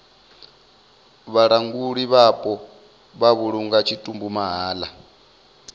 vhalanguli vhapo vha vhulunga tshitumbu mahala